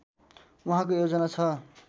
उहाँको योजना छ